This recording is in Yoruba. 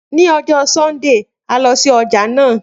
Ni ọjọ Sundee, a lọ si ọja naa.